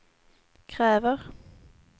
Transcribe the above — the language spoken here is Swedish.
kräver